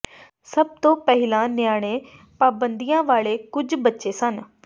ਸਭ ਤੋਂ ਪਹਿਲਾਂ ਨਿਆਣੇ ਪਾਬੰਦੀਆਂ ਵਾਲੇ ਕੁੱਝ ਬੱਚੇ ਸਨ